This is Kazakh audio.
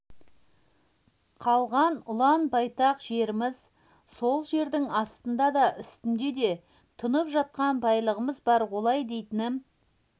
қалған ұлан-байтақ жеріміз сол жердің астында да үстінде де тұнып жатқан байлығымыз бар олай дейтінім